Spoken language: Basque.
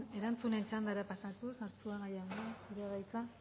erantzunen txandara pasatuz arzuaga jauna zurea da hitza